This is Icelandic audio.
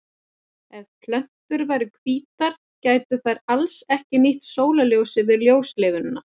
Ef plöntur væru hvítar gætu þær alls ekki nýtt sólarljósið við ljóstillífun.